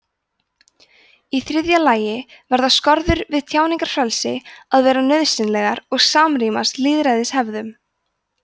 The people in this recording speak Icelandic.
í þriðja lagi verða skorður við tjáningarfrelsi að vera nauðsynlegar og samrýmast lýðræðishefðum